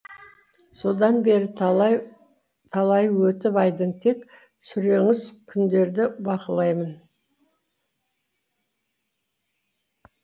содан бері талайы өтіп айдың тек сүреңсіз күндерді бақылаймын